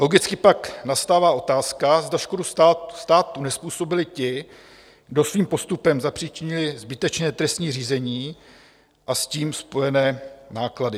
Logicky pak nastává otázka, zda škodu státu nezpůsobili ti, kdo svým postupem zapříčinili zbytečné trestní řízení a s tím spojené náklady.